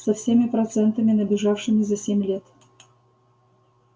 со всеми процентами набежавшими за семь лет